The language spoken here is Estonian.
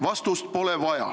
Vastust pole vaja.